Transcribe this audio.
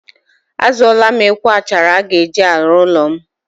A zụọla m ekwe achara a ga-eji arụ ụlọ m.